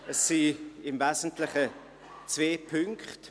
– Es sind im Wesentlichen zwei Punkte.